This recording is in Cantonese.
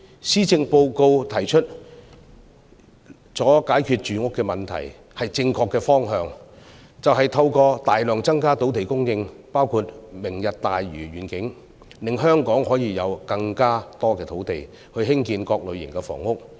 施政報告提出了解決住屋問題的方法，是正確的方向，就是透過大量增加土地供應，包括"明日大嶼願景"，令香港可以有更多土地興建各類型房屋。